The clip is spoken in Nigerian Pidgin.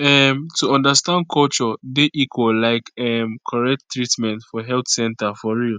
um to understand culture dey equal like um correct treatment for health center for real